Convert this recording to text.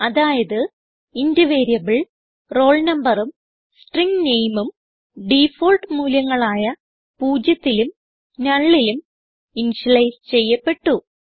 അതായത് int variable roll numberഉം string nameഉം ഡിഫാൾട്ട് മൂല്യങ്ങളായ പൂജ്യത്തിലും nullലും ഇനിഷ്യലൈസ് ചെയ്യപ്പെട്ടു